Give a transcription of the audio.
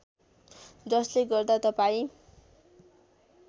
जसले गर्दा तपाईँ